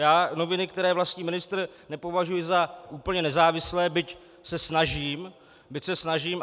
Já noviny, které vlastní ministr, nepovažuji za úplně nezávislé, byť se snažím.